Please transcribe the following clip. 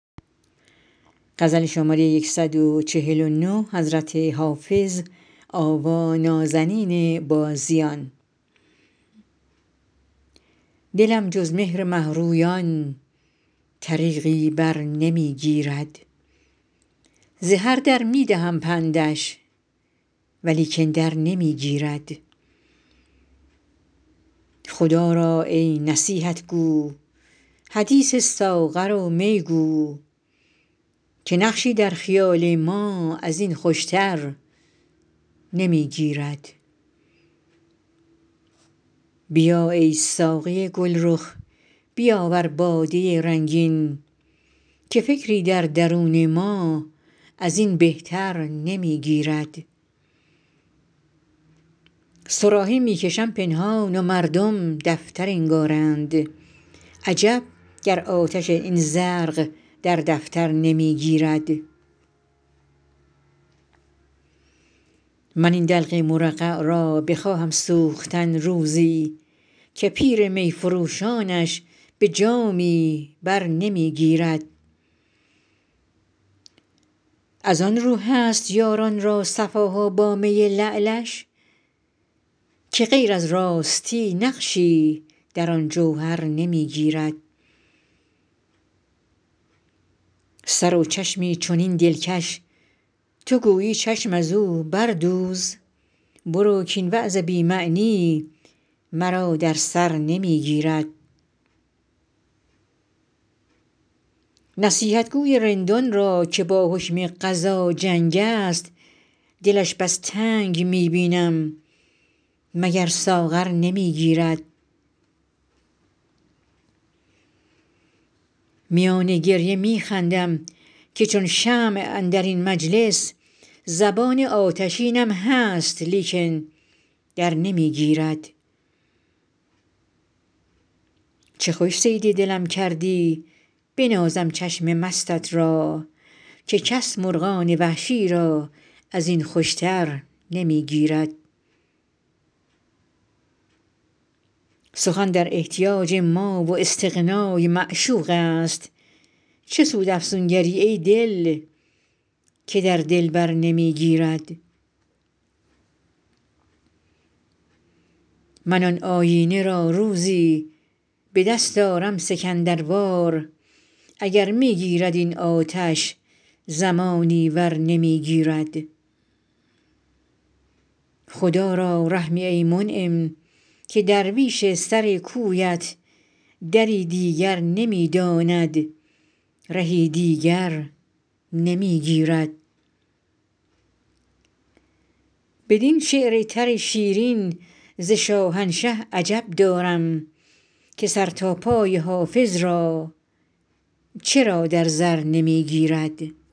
دلم جز مهر مه رویان طریقی بر نمی گیرد ز هر در می دهم پندش ولیکن در نمی گیرد خدا را ای نصیحت گو حدیث ساغر و می گو که نقشی در خیال ما از این خوش تر نمی گیرد بیا ای ساقی گل رخ بیاور باده رنگین که فکری در درون ما از این بهتر نمی گیرد صراحی می کشم پنهان و مردم دفتر انگارند عجب گر آتش این زرق در دفتر نمی گیرد من این دلق مرقع را بخواهم سوختن روزی که پیر می فروشانش به جامی بر نمی گیرد از آن رو هست یاران را صفا ها با می لعلش که غیر از راستی نقشی در آن جوهر نمی گیرد سر و چشمی چنین دلکش تو گویی چشم از او بردوز برو کاین وعظ بی معنی مرا در سر نمی گیرد نصیحتگو ی رندان را که با حکم قضا جنگ است دلش بس تنگ می بینم مگر ساغر نمی گیرد میان گریه می خندم که چون شمع اندر این مجلس زبان آتشینم هست لیکن در نمی گیرد چه خوش صید دلم کردی بنازم چشم مستت را که کس مرغان وحشی را از این خوش تر نمی گیرد سخن در احتیاج ما و استغنا ی معشوق است چه سود افسونگر ی ای دل که در دلبر نمی گیرد من آن آیینه را روزی به دست آرم سکندر وار اگر می گیرد این آتش زمانی ور نمی گیرد خدا را رحمی ای منعم که درویش سر کویت دری دیگر نمی داند رهی دیگر نمی گیرد بدین شعر تر شیرین ز شاهنشه عجب دارم که سر تا پای حافظ را چرا در زر نمی گیرد